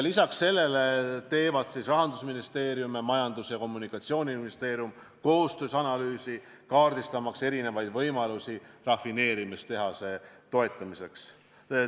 Lisaks sellele teevad Rahandusministeerium ning Majandus- ja Kommunikatsiooniministeerium koostöös analüüsi, kaardistamaks eri võimalusi rafineerimistehase toetamiseks.